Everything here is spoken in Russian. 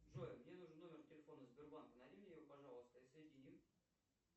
джой мне нужен номер телефона сбербанка найди мне его пожалуйста и соедини